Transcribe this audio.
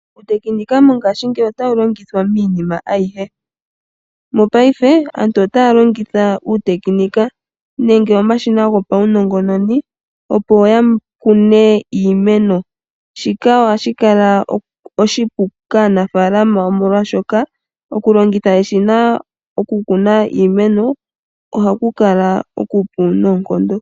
Uuteknika mongaashingeyi otawu longithwa miinima ayihe. Mopaife aantu otaya longitha uuteknika nenge omashina gopaunongononi opo ya kune iimeno. Shika ohashi kala oshipu kaanafaalama omolwaashoka oku longitha eshina oku kuna iimeno ohaku kala okupu noonkondo.